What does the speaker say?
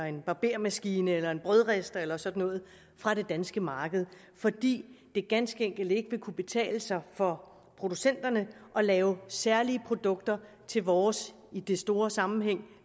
en barbermaskine eller en brødrister eller sådan noget fra det danske marked fordi det ganske enkelt ikke vil kunne betale sig for producenterne at lave særlige produkter til vores i den store sammenhæng